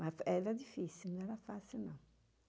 Mas era difícil, não era fácil, não.